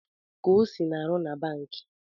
Kosi na-aru na banki